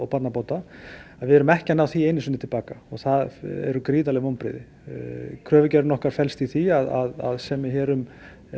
barnabóta við erum ekki að ná því einu sinni til baka og það eru gríðarleg vonbrigði kröfugerðin okkar felst í því að semja hér um